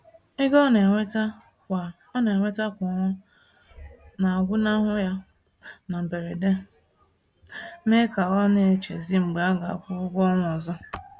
Ego ọna enweta kwa ọna enweta kwa ọnwa nagwụnahụ ya na mberede, mee ka ọ na-echezi mgbe a ga-akwụ ụgwọ ọnwa ọzọ.